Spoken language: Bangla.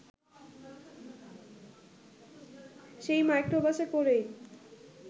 সেই মাইক্রোবাসে করেই